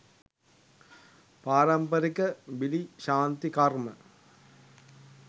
පාරම්පරික බිලි ශාන්ති කර්ම